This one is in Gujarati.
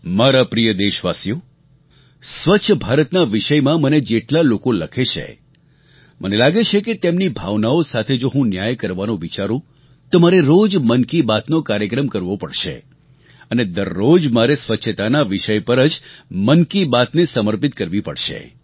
મારા પ્રિય દેશવાસીઓ સ્વચ્છ ભારતના વિષયમાં મને જેટલા લોકો લખે છે મને લાગે છે કે તેમની ભાવનાઓ સાથે જો હું ન્યાય કરવાનું વિચારું તો મારે રોજ મન કી બાતનો કાર્યક્રમ કરવો પડશે અને દરરોજ મારે સ્વચ્છતાના વિષય પર જ મન કી બાતને સમર્પિત કરવી પડશે